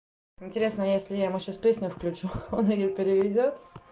интересно если я ему сейчас песню включу он её переведёт